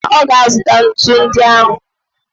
E mesịa, ọ ga-azụta ntu ndị ahụ.